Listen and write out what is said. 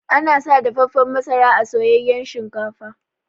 Ana sa dafaffan masara a soyayyan shinkafa.